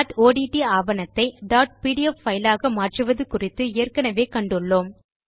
dot ODT ஆவணத்தை dot PDF file ஆக மாற்றுவது குறித்து ஏற்கெனெவே கண்டுள்ளோம்